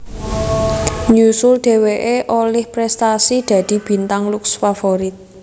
Nyusul dheweké olih prestasi dadi Bintang Lux Favorit